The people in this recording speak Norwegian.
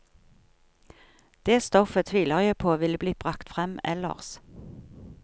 Det stoffet tviler jeg på ville blitt bragt frem ellers.